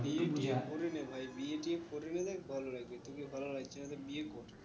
দিয়ে বিয়া করে না ভাই বিয়ে টিয়ে করে নিলে ভালো লাগবে, তোকে ভালো লাগছে না তো বিয়ে কর